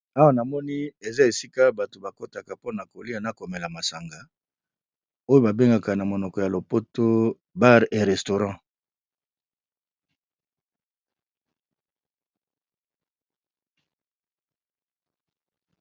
Awa na moni eza esika bato ba kotaka mpona kolia na komela masanga, oyo ba bengaka na monoko ya lopoto bar ye restaurant.